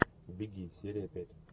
беги серия пять